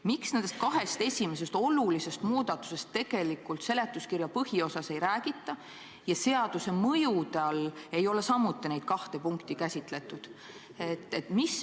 Miks nendest kahest esimesest olulisest muudatusest seletuskirja põhiosas ei räägita ja seaduse mõjusid selgitades ei ole samuti neid kahte punkti käsitletud?